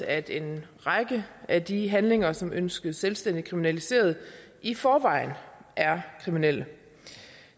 at en række af de handlinger som ønskes selvstændigt kriminaliseret i forvejen er kriminelle